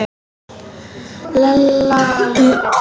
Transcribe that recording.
Lalla leið betur.